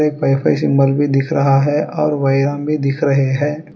Wifi symbol भी दिख रहा है और भी दिख रहे है।